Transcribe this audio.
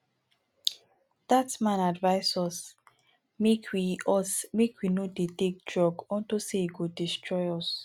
dat man advice us make we us make we no dey take drugs unto say e go destroy us